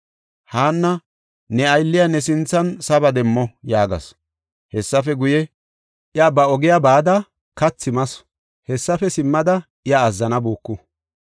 Haanna, “Ne aylliya ne sinthan saba demmo” yaagasu. Hessafe guye, iya ba ogiya bada kathi masu; hessafe simmada iya azzanabuuku.